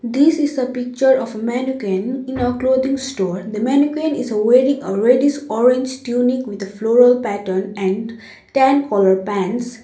this is the picture of a mannequin in a clothing store the mannequin is wearing a reddish orange tunic with a floral pattern and tan colour pants.